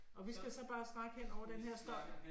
Og vi skal så bare snakke hen over den her støj?